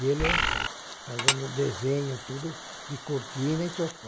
E ele fazendo desenho, tudo, de cortina e sofá.